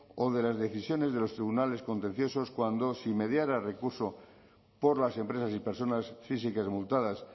o de las decisiones de los tribunales contenciosos cuando si mediara recurso por las empresas y personas físicas multadas